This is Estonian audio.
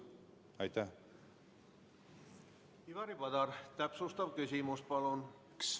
Ivari Padar, täpsustav küsimus, palun!